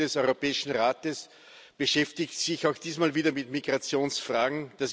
Die Tagung des Europäischen Rates beschäftigt sich auch diesmal wieder mit Migrationsfragen.